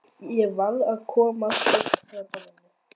Ég verð að komast burt frá borðinu.